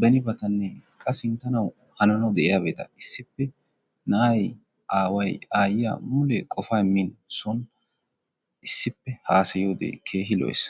benibatanne qa sinttanawu hananawu de'iyabata issippe na'ay, aaway, aayyiya mule qofaa immiiddi son issippe haasayiyode keehi lo''ees.